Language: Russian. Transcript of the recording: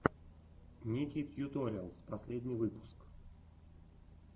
ники тьюториалс последний выпуск